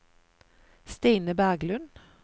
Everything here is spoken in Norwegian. Stine Berglund